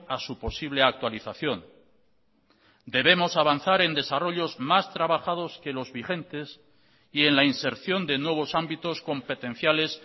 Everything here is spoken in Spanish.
a su posible actualización debemos avanzar en desarrollos más trabajados que los vigentes y en la inserción de nuevos ámbitos competenciales